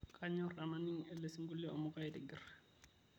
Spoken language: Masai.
kanyor tenaining' ele sinkoilio amu kaitingir